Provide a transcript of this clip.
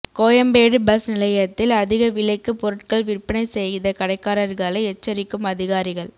Koyambedu bus நிலையத்தில் அதிக விலைக்கு பொருட்கள் விற்பனை செய்த கடைக்காரர்களை எச்சரிக்கும் அதிகாரிகள்